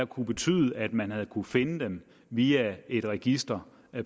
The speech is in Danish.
kunnet betyde at man havde kunnet finde dem via et register